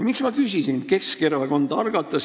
Keskerakond algatas eelnõu 5. märtsil.